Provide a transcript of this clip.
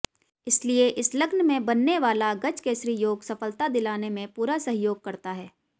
इसलिए इस लग्न में बनने वाला गजकेसरी योग सफलता दिलाने में पूरा सहयोग करता है